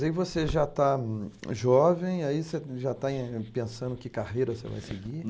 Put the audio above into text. Aí você já está jovem, aí você já está em... pensando que carreira você vai seguir?